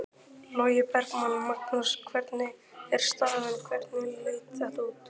Logi Bergmann: Magnús hvernig er staðan, hvernig leit þetta út?